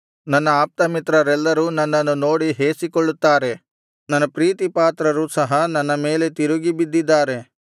ನನ್ನ ಆಪ್ತಮಿತ್ರರೆಲ್ಲರೂ ನನ್ನನ್ನು ನೋಡಿ ಹೇಸಿಕೊಳ್ಳುತ್ತಾರೆ ನನ್ನ ಪ್ರೀತಿಪಾತ್ರರು ಸಹ ನನ್ನ ಮೇಲೆ ತಿರುಗಿಬಿದ್ದಿದ್ದಾರೆ